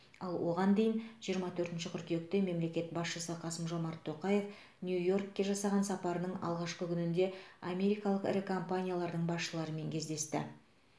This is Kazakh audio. ал оған дейін жиырма төртінші қыркүйекте мемлекет басшысы қасым жомарт тоқаев нью йоркке жасаған сапарының алғашқы күнінде америкалық ірі компаниялардың басшыларымен кездесті